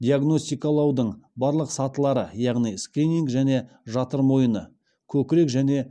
диагностикалаудың барлық сатылары яғни скрининг және жатыр мойыны көкірек және